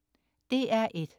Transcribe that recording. DR1: